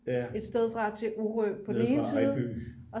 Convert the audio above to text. et sted fra til orø på den ene side